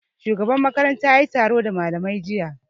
Shugaban makaranta yayi taro da malamai jiya